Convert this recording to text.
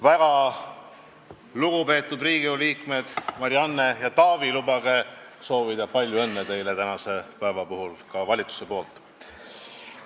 Väga lugupeetud Riigikogu liikmed Marianne ja Taavi, lubage soovida palju õnne teile tänase päeva puhul ka valitsuse poolt!